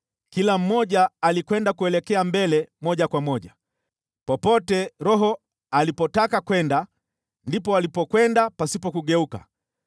Kila mmoja alikwenda kuelekea mbele moja kwa moja. Popote roho alipotaka kwenda, ndipo walipokwenda pasipo kugeuka.